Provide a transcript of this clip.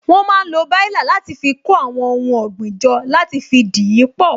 Wón máa ń lo baila láti fi kó àwọn ohun ọ̀gbìn jọ, láti fi dìípọ̀